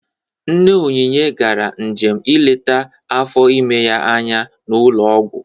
Nne Onynye gara njem ileta afọ ime ya anya n'ụlọ ọgwụ.